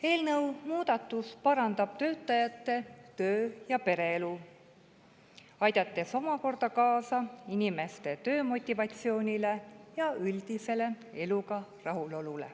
Eelnõu muudatus parandab tööinimeste töö‑ ja pereelu, aidates omakorda tõsta nende töömotivatsiooni ja üldist eluga rahulolu.